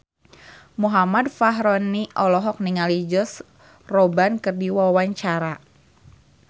Muhammad Fachroni olohok ningali Josh Groban keur diwawancara